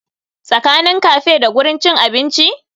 Tsakanin cafe da gurin cin abinci?